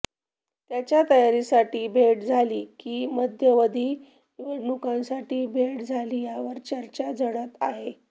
त्याच्या तयारीसाठी भेट झाली की मध्यावधी निवडणुकांसाठी भेट झाली यावर चर्चा झडत आहे